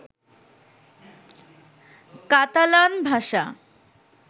Catalan ভাষা